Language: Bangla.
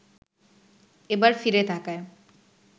এবার ফিরে তাকায়